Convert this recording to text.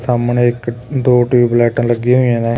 ਸਾਹਮਣੇ ਇੱਕ ਦੋ ਟਿਊਬ ਲਾਇਟਾਂ ਲੱਗੀਆਂ ਹੋਈਆਂ ਨੇ।